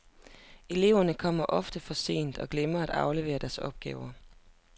Eleverne kommer ofte for sent og glemmer at aflevere deres opgaver.